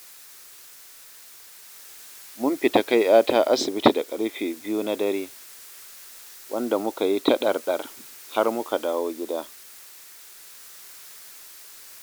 Mun fita kai 'yata asibiti da karfe 2 na dare, wanda muka yi ta dar-dar har muka dawo gida.